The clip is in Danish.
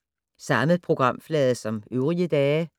Samme programflade som øvrige dage